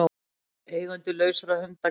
Eigendur lausra hunda kærðir